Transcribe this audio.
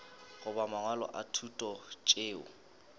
goba mangwalo a thuto tšeo